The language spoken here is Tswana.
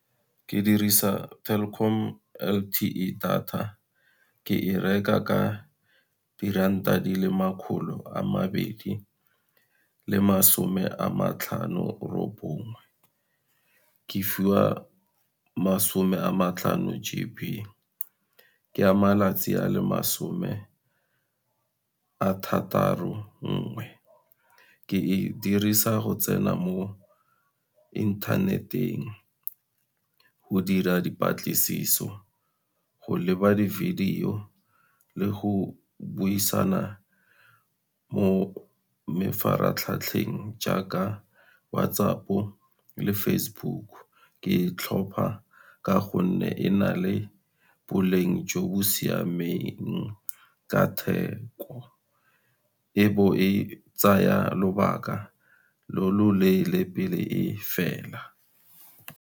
Ke dirisa Telkom L_T_E data, ke e reka ka diranta di le makgolo a mabedi le masome a matlhano robonngwe. Ke fiwa masome a matlhano G_B, ke a malatsi a le masome a thataro nngwe, ke e dirisa go tsena mo interneteng, go dira dipatlisiso, go leba di-video le go buisana mo jaaka WhatsApp-o le Facebook. Ke e tlhopha ka gonne e na le boleng jo bo siameng ka theko, e bo e tsaya lobaka lo loleele pele e fela.